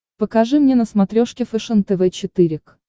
покажи мне на смотрешке фэшен тв четыре к